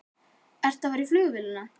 Hjördís: Ertu að fara í flugvélina?